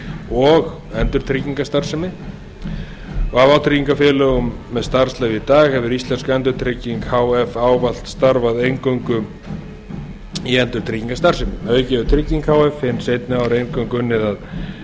og endurtryggingastarfsemi af vátryggingafélögum með starfsleyfi í dag hefur íslensk endurtrygging h f ávallt starfað eingöngu í endurtryggingastarfsemi að auki hefur trygging h f hin seinni ár eingöngu unnið að